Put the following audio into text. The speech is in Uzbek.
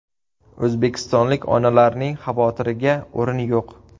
O‘zbekistonlik onalarning xavotiriga o‘rin yo‘q.